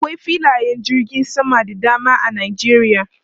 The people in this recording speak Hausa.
Akwai filayen jirgin sama da dama a Nijeriya.